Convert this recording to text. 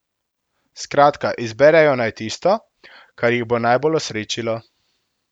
Skratka, izberejo naj tisto, kar jih bo najbolj osrečilo.